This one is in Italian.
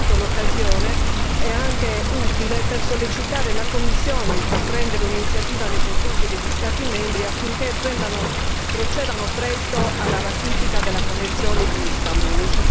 Pertanto l'occasione è utile anche per sollecitare la Commissione a intraprendere un'iniziativa nei confronti degli Stati membri affinché procedano presto alla ratifica della convenzione di Istanbul.